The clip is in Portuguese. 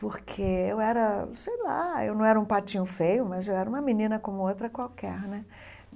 porque eu era, sei lá, eu não era um patinho feio, mas eu era uma menina como outra qualquer, né?